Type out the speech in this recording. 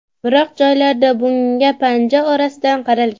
Biroq joylarda bunga panja orasidan qaralgan.